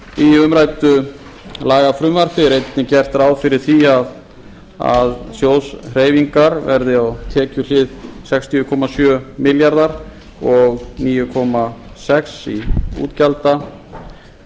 í umræddu lagafrumvarpi er einnig gert ráð fyrir því að sjóðshreyfingar verði á tekjuhlið sextíu komma sjö milljarðar og níu komma sex í